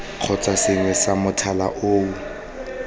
kgotsa sengwe sa mothale oo